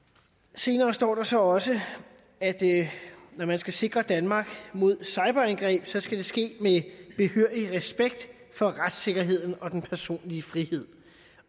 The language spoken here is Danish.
senere står der så også at når man skal sikre danmark mod cyberangreb skal det ske med behørig respekt for retssikkerheden og den personlige frihed